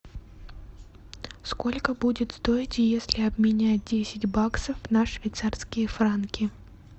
сколько будет стоить если обменять десять баксов на швейцарские франки